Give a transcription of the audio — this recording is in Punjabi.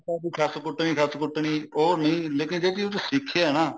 ਤਾਂ ਉਹਦੀ ਸੱਸ ਕੁੱਟਣੀ ਸੱਸ ਕੁੱਟਣੀ ਉਹ ਨੀ ਲੇਕਿਨ ਜਿਹੜੀ ਉਹਦੇ ਚ ਸਿੱਖਿਆ ਨਾ